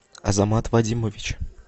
азамат вадимович